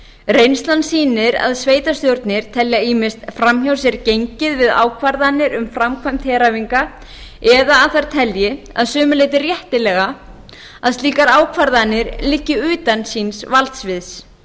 reynslan sýnir að sveitarstjórnir telja ýmist fram hjá sér gengið við ákvarðanir um framkvæmd heræfinga eða að þær telji að sumu leyti réttilega að slíkar ákvarðanir liggi utan síns valdsviðs